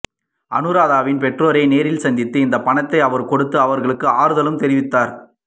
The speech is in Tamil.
அனுராதாவின் பெற்றோரை நேரில் சந்தித்து இந்த பணத்தை அவர் கொடுத்து அவர்களுக்கு ஆறுதலும் தெரிவித்தார்